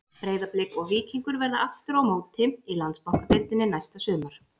Breiðablik og Víkingur verða aftur á móti í Landsbankadeildinni næsta sumar.